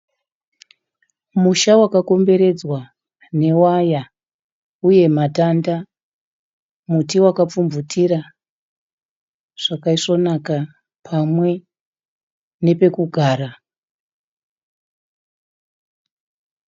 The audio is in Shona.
Musha wakakomberedzwa newaya uye matanda. Muti wakapfumvutira zvakaisvonaka pamwe nepekugara.